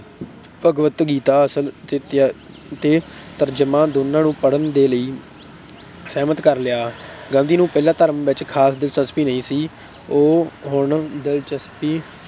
ਭਗਵਤ ਗੀਤਾ ਅਸਲ ਅਤੇ ਤਰਜਮਾ ਦੋਨਾਂ ਨੂੰ ਪੜ੍ਹਨ ਦੇ ਲਈ ਸਹਿਮਤ ਕਰ ਲਿਆ। ਗਾਂਧੀ ਨੂੰ ਪਹਿਲਾਂ ਧਰਮ ਵਿੱਚ ਖ਼ਾਸ ਦਿਲਚਸਪੀ ਨਹੀਂ ਸੀ, ਉਹ ਹੁਣ ਦਿਲਚਸਪੀ